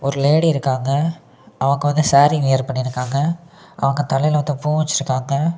Lady இருக்காங்க அவங்க வந்து சாரி வியர் பண்ணிருக்காங்க அவங்க தலையில வந்து பூ வச்சிருக்காங்க.